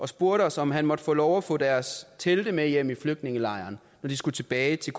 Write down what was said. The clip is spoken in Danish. spurgte os om han måtte få lov at få deres telte med hjem i flygtningelejren når de skulle tilbage til